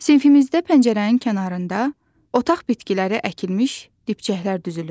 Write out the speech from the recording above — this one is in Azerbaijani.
Sinifimizdə pəncərənin kənarında otaq bitkiləri əkilmiş dibçəklər düzülüb.